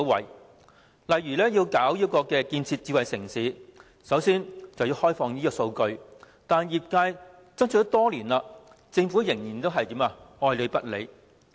又例如，政府要建設智慧城市，首先必須開放數據。可是，業界爭取多年，政府依然愛理不理。